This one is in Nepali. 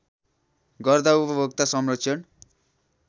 गर्दा उपभोक्ता संरक्षण